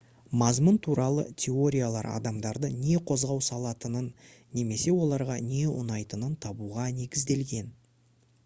мазмұн туралы теориялар адамдарды не қозғау салатынын немесе оларға не ұнайтынын табуға негізделген